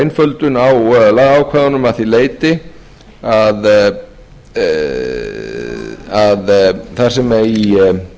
einföldun á lagaákvæðunum að því leyti að þar sem í tvö hundruð og aðra grein er ákvæði um